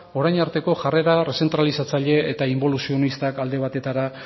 orain arteko jarrera zentralizatzaile eta inboluzionistak alde batetara